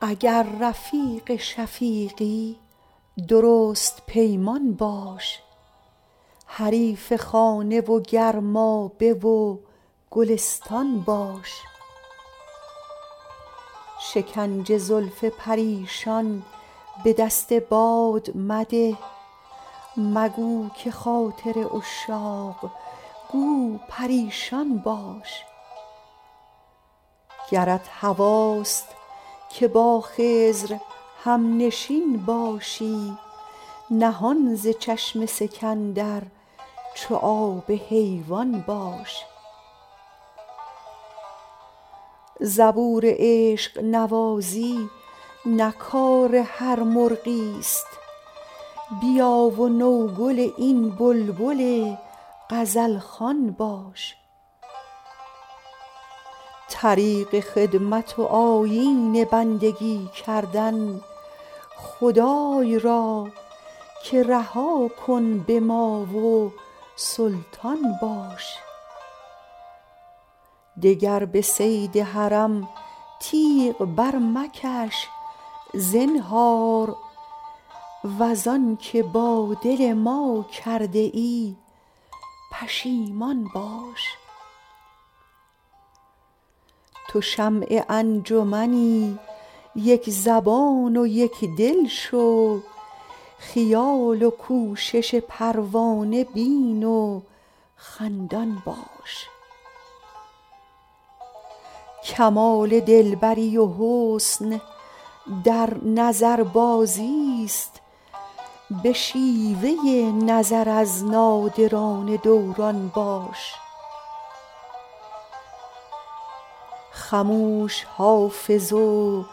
اگر رفیق شفیقی درست پیمان باش حریف خانه و گرمابه و گلستان باش شکنج زلف پریشان به دست باد مده مگو که خاطر عشاق گو پریشان باش گرت هواست که با خضر هم نشین باشی نهان ز چشم سکندر چو آب حیوان باش زبور عشق نوازی نه کار هر مرغی است بیا و نوگل این بلبل غزل خوان باش طریق خدمت و آیین بندگی کردن خدای را که رها کن به ما و سلطان باش دگر به صید حرم تیغ برمکش زنهار وز آن که با دل ما کرده ای پشیمان باش تو شمع انجمنی یک زبان و یک دل شو خیال و کوشش پروانه بین و خندان باش کمال دل بری و حسن در نظربازی است به شیوه نظر از نادران دوران باش خموش حافظ و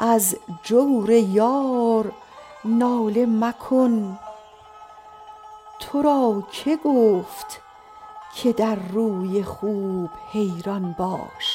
از جور یار ناله مکن تو را که گفت که در روی خوب حیران باش